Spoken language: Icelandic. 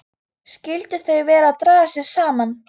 Skyldu þau vera að draga sig saman?